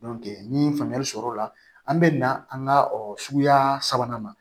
ni faamuyali sɔrɔ o la an be na an ka suguya sa sabanan ma